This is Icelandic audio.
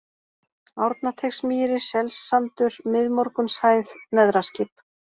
Árnateigsmýri, Selssandur, Miðmorgunshæð, Neðraskip